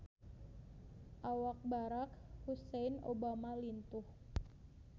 Awak Barack Hussein Obama lintuh